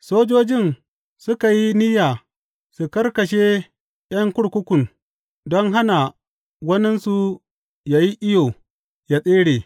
Sojojin suka yi niyya su kakkashe ’yan kurkukun don hana waninsu yă yi iyo yă tsere.